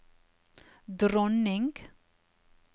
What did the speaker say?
dronning